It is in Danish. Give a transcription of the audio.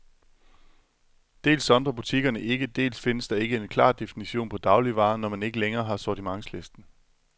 Dels sondrer butikkerne ikke, dels findes der ikke en klar definition på dagligvarer, når man ikke længere har sortimentslisten.